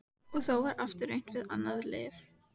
Og þá var aftur reynt við annað lyf.